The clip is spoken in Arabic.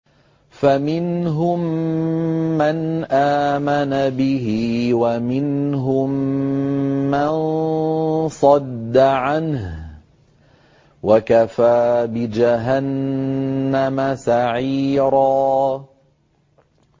فَمِنْهُم مَّنْ آمَنَ بِهِ وَمِنْهُم مَّن صَدَّ عَنْهُ ۚ وَكَفَىٰ بِجَهَنَّمَ سَعِيرًا